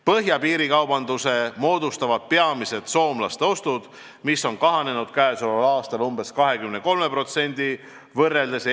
Põhjapiiril moodustavad piirikaubanduse peamiselt soomlaste ostud, mis on käesoleval aastal eelmise aastaga võrreldes umbes 23% kahanenud.